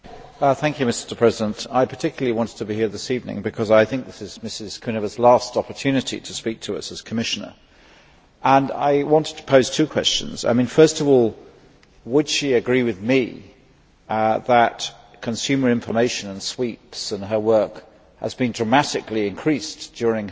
Mr President, I particularly wanted to be here this evening because I think that this is Mrs Kuneva's last opportunity to speak to us as Commissioner, and I wanted to pose two questions. First of all, would she agree with me that consumer information and sweeps and her work have been dramatically increased during her tenure